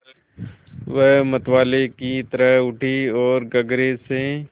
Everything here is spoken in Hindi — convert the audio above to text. वह मतवाले की तरह उठी ओर गगरे से